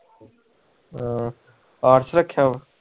ਹਾਂ ਆਰਟਸ ਰਖਿਆ